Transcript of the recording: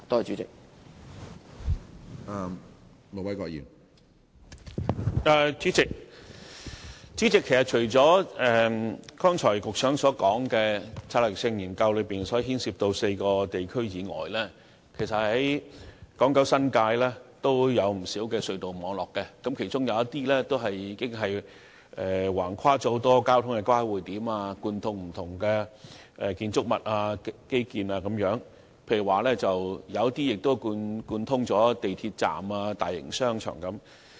主席，其實除了局長剛才所說，策略性研究中所牽涉的4個地區之外，港、九、新界也有不少隧道網絡，當中有些橫跨很多交通交匯點，貫通了不同的建築物和基建設施，有些甚至貫通了港鐵站和大型商場。